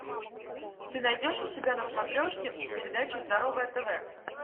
ты найдешь у себя на смотрешке передачу здоровое тв